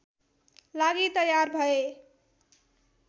लागि तयार भए